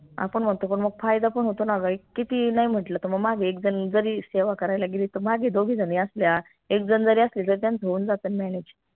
आपन म्हनतो पन मग फायदा पन होतो ना ग एक किती नाई म्हंटल त मग मागे एक झन जरी सेवा करायला गेली त मागे दोघी झनी असल्या एक झन जरी असली तरी त्यांचं होऊन जात न manage